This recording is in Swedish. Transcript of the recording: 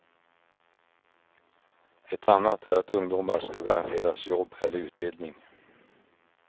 Ett annat är att ungdomar ska garanteras jobb eller utbildning.